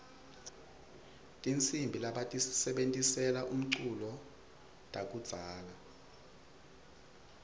tihsimbi lebatisebentisela umculo takudzala